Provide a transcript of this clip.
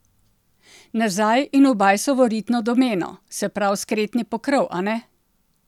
Nazaj in v Bajsovo ritno domeno, se prav skretni pokrov, a ne?